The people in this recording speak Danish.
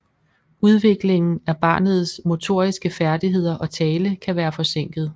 Udviklingen af barnets motoriske færdigheder og tale kan være forsinket